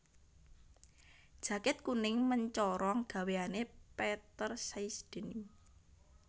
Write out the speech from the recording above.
Jaket kuning mencorong gaweane Peter Says Denim